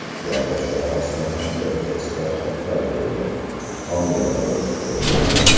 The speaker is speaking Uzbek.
Teatr sohasida ham katta islohotlar bo‘ldi, homiylar biriktirildi.